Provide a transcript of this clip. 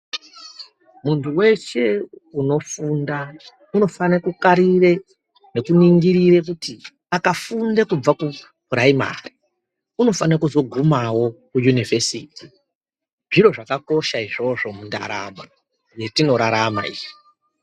Muntu veshe unofunda unofane kukarire nekuningire kuti akafunde kubva kupuraimari unofana kuzogumavo kuyunivhesiti. Zviro zvakakosha izvozvo mundaramo yetinorarama iyi.